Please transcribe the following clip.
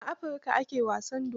A Afirika, ake wasan dodo.